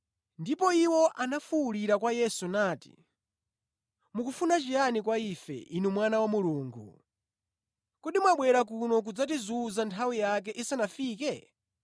Ndipo iwo anafuwulira kwa Yesu nati, “Mukufuna chiyani kwa ife, Inu Mwana wa Mulungu? Kodi mwabwera kuno kudzatizunza nthawi yake isanafike?”